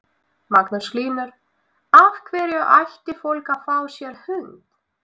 Magnús Hlynur: Af hverju ætti fólk að fá sér hund?